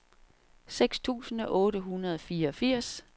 seks tusind otte hundrede og fireogfirs